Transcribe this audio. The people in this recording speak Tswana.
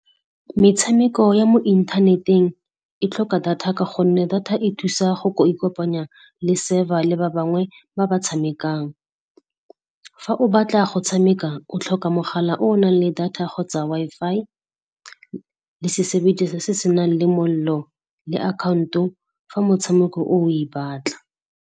Metshameko ya mo inthaneteng e tlhoka data ka gonne data e thusa go ikopanya le server le ba bangwe ba ba tshamekang. Fa o batla go tshameka, o tlhoka mogala o o nang le data kgotsa Wi-Fi le se se senang le mollo le account-o fa motshameko o, o e batla.